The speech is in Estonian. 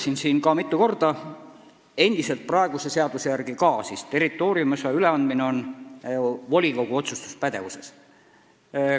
" Nagu ma juba mitu korda olen öelnud, praeguse seaduse järgi on territooriumiosa üleandmine endiselt volikogu otsustuspädevuses.